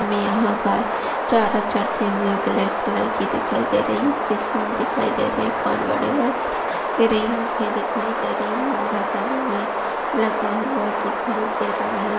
हमे यहां गाय चारा चरते हुए ब्लॅक कलर की दिखाई दे रही ईसके स्किन दिखाई दे रहे कान बड़े बड़े दिखाई दे रहे आखे दिखाई दे रही लगा हुआ दिखाई दे रहा है।